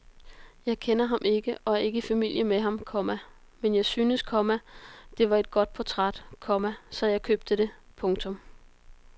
Jeg kender ham ikke og er ikke i familie med ham, komma men jeg syntes, komma det var et godt portræt, komma så jeg købte det. punktum